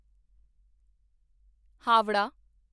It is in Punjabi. ਹਾਵੜਾ